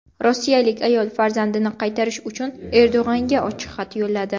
Rossiyalik ayol farzandini qaytarish uchun Erdo‘g‘onga ochiq xat yo‘lladi.